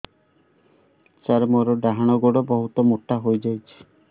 ସାର ମୋର ଡାହାଣ ଗୋଡୋ ବହୁତ ମୋଟା ହେଇଯାଇଛି